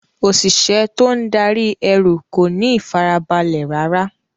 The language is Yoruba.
Òṣìṣẹ́ tó ń darí ẹrú kò ní ìfarabalẹ̀ rárá.